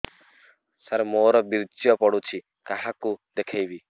ସାର ମୋର ବୀର୍ଯ୍ୟ ପଢ଼ୁଛି କାହାକୁ ଦେଖେଇବି